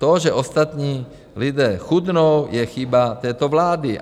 To, že ostatní lidé chudnou, je chyba této vlády.